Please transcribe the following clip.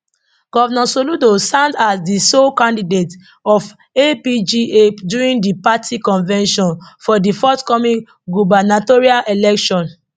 govnor soludo stand as di sole candidate of apga during di party convention for di forthcoming gubernatorial election